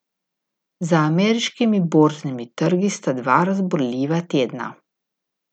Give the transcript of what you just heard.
Za ameriškimi borznimi trgi sta dva razburljiva tedna.